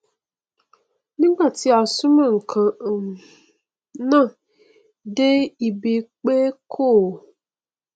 nígbà tí a súnmọ nkan um náà dé ibi pé kò